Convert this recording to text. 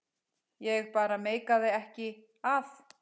Ég bara meikaði ekki að.